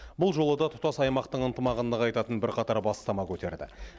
бұл жолы да тұтас аймақтың ынтымағын нығайтатын бірқатар бастама көтерді